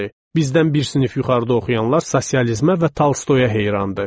Bizdən bir sinif yuxarıda oxuyanlar sosializmə və Tolstoyaya heyran idi.